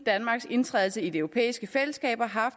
sin indtræden i de europæiske fællesskaber har